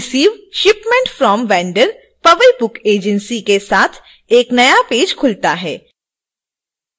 receive shipment from vendor powai book agency के साथ एक नया पेज खुलता है